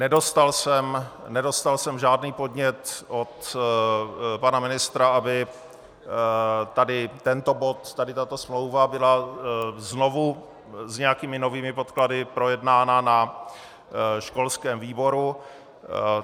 Nedostal jsem žádný podnět od pana ministra, aby tady tento bod, tady tato smlouva byla znovu s nějakými novými podklady projednána na školském výboru.